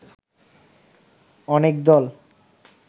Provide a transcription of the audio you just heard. অনেক দল